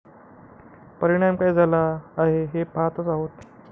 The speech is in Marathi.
परिणाम काय झाला आहे हे पहातच आहोत.